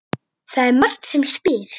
Það er Marta sem spyr.